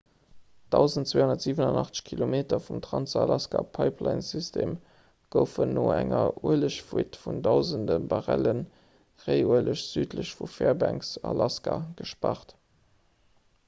1287 kilometer vum trans-alaska-pipelinesystem goufen no enger uelegfuite vun dausende barrelle réiueleg südlech vu fairbanks alaska gespaart